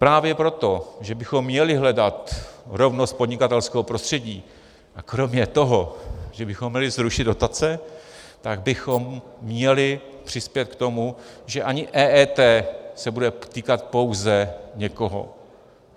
Právě proto, že bychom měli hledat rovnost podnikatelského prostředí, a kromě toho, že bychom měli zrušit dotace, tak bychom měli přispět k tomu, že ani EET se bude týkat pouze někoho.